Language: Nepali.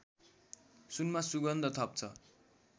सुनमा सुगन्ध थप्छ